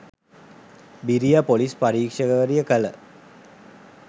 බිරිය ‍පොලිස් පරීක්ෂකවරිය කළ